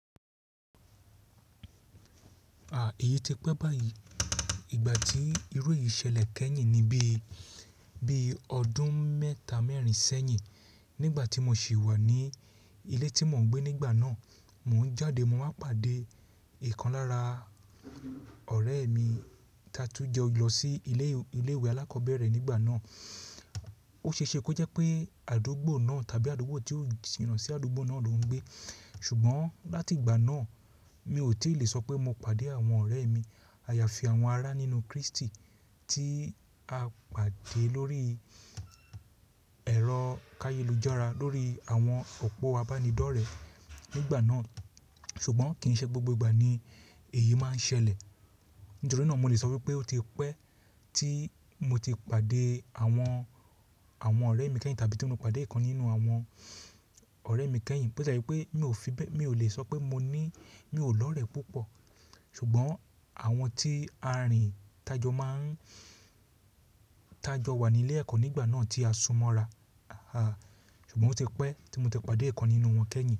Èyí ti pé báyìí, ìgbà tí irú èyí ṣẹlẹ̀ kẹ́yìn ní bí, bí ọdún mẹ́ta mẹ́rin sẹ́yìn nígbà tí mo ṣì wà ní ilé tí mò ń gbé nígbà náà, mò ń jáde mò wá pàdé ìkan lára ọ̀rẹ́ mi tatún jọ lọ sí ilé, ilé ìwé alákọ̀ọ́bẹ̀rẹ̀ nígbà náà. Ó ṣe é ṣe kó jẹ́ pé àdúgbò náà tàbí àdúgbò tí ó jina sí àdúgbò náà ló ń gbé. Ṣùgbọ́n láti ìgbà náà mi ò tí lè sọ pé mo pàdé àwọn ọ̀rẹ́ mi, àyàfi àwọn ará nínú Kristi tí a pàdé lórí ẹ̀rọ káyélujára lórí àwọn òpó abánidọ́rẹ̀ẹ́ nígbà náà. Ṣùgbọ́n kì n ṣe gbogbo ìgbà ni èyí máa ń ṣẹlẹ̀. Nítorí náà mo lè sọ wípé ó ti pẹ́ tí mo ti pàdé àwọn, àwọn ọ̀rẹ́ mi kẹ́yìn tàbí tí mo ti pàdé ìkan nínú àwọn ọ̀rẹ́ mi kẹ́yìn. Bó tie je pé mi ò fi bẹ́, mi ò lè sọ pé mo ní mi ò lọ̀rẹ́ púpọ̀. Ṣùgbọ́n àwọn tí à rìn tájọ máa ń tájọ wà ní ilé ẹ̀kọ́ nígbà náà tí a sunmọ́ ra. Ṣùgbọ́n ó ti pẹ́ tí mo ti pàdé ìkan nínú wọn kẹ́yìn.